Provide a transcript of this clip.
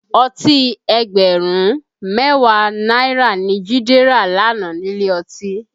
Ọtí ẹgbẹ̀rún mẹ́wàá náírà ni Jide rà lánàá nílé ọtí